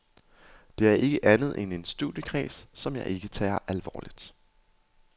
Det er ikke andet end en studiekreds, som jeg ikke tager alvorligt.